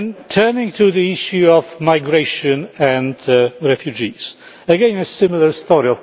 Turning to the issue of migration and refugees again a similar